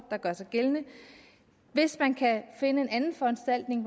der gør sig gældende hvis man kan finde en anden foranstaltning